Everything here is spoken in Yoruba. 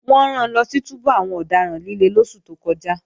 Wọ́n ran lọ sí túbú àwọn ọ̀daràn líle lóṣù tó kọjá